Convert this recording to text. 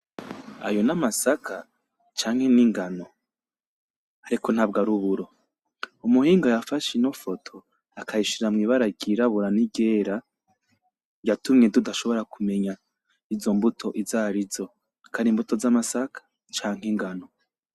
Ayo ni amasaka canke ni ingano, ariko ntabwo ari uburo. Umuhinga yafashe ino foto akayishira mw'ibara ryirabura n'iryera yatumye tudashobora kumenya izo mbuto izarizo, ko ari imbuto z'amasaka canke ingano.